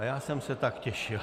A já jsem se tak těšil.